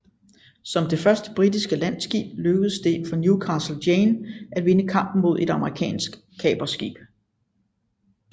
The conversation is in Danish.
Som det første britiske handelsskib lykkedes det for Newcastle Jane at vinde kampen mod et amerikansk kaperskib